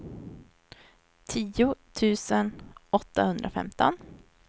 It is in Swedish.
tio tusen åttahundrafemton